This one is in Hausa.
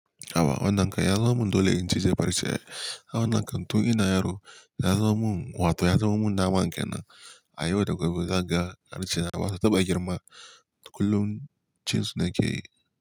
Haha wannan kan ya zama mun dole in ci jefa rice. Ai wannanka tun ina yaro ya zama mun wato ya zamo mun nama kenan a yau da gabe kaga ya wuce nama Wasu taba girma kullum cin suna ke yi.